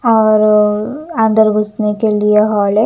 और अंदर घुसने के लिए हॉल है।